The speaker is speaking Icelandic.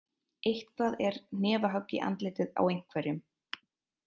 Eitthvað er hnefahögg í andlitið á einhverjum